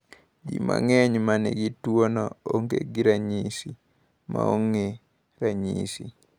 Ji mang’eny ma nigi tuwono onge gi ranyisi (maonge ranyisi).